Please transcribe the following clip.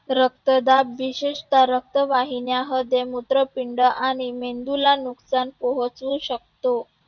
रक्तदाब विशेषतः मूत्रवाहिन्यांमध्ये मूत्रपिंड आणि मेंदूला नुकसान पोहचू शकतो.